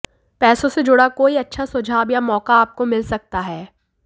पैसों से जुड़ा कोई अच्छा सुझाव या मौका आपको मिल सकता है